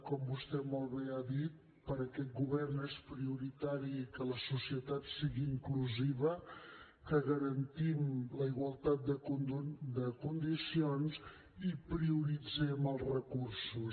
com vostè molt bé ha dit per aquest govern és prioritari que la societat sigui inclusiva que garantim la igualtat de condicions i prioritzem els recursos